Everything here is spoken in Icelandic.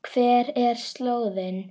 Hver er slóðin?